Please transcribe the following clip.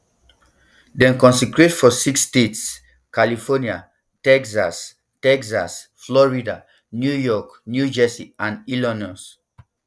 dem concentrate for six states california texas texas florida new york new jersey and illinois